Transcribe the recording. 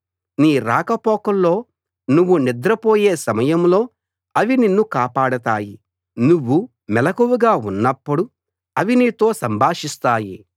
నీ రాకపోకల్లో నువ్వు నిద్రపోయే సమయంలో అవి నిన్ను కాపాడతాయి నువ్వు మెలకువగా ఉన్నప్పుడు అవి నీతో సంభాషిస్తాయి